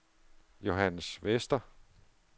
Johannes Vester